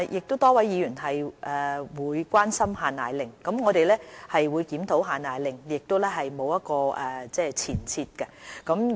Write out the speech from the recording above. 多位議員亦關心"限奶令"，我們會檢討"限奶令"，亦沒有前設。